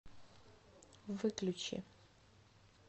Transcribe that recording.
выключи